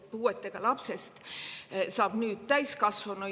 Puudega lapsest saab nüüd täiskasvanu.